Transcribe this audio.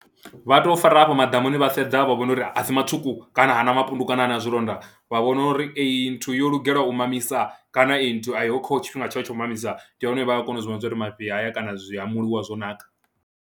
Vha tou fara afho maḓamuni vha sedza vha vhona uri a si matswuku kana hana mapundu kana ha na zwilonda, vha vhona uri eyi nthu yo lugelwa u mamisa kana i nthu a i ho kha tshifhinga tshayo tsha u mamisa ndi hone vha ya kona u zwi vhona zwa uri mafhi haya kana zwi hamuliwa zwo naka.